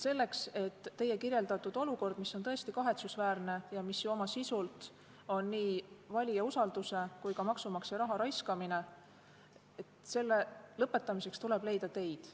Selleks, et teie kirjeldatud olukord, mis on tõesti kahetsusväärne ja mis ju oma sisult on nii valija usalduse petmine kui ka maksumaksja raha raiskamine, lõppeks, tuleb leida teid.